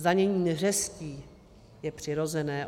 Zdanění neřestí je přirozené.